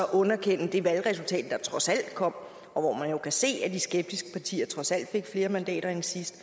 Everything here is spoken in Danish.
underkende det valgresultat der trods alt kom og hvor man jo kan se at de skeptiske partier trods alt fik flere mandater end sidst